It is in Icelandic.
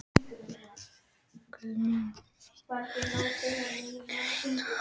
Guðmundína, mun rigna í dag?